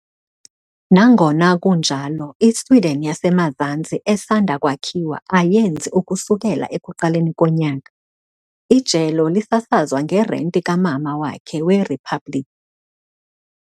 Nangona kunjalo, iSudan yaseMazantsi esanda kwakhiwa ayenzi ukusukela ekuqaleni konyaka, ijelo lisasazwa ngerenti kamama wakhe weriphabliki.